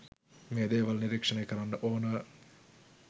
මේ දේවල් නිරීක්‍ෂණය කරන්න ඕන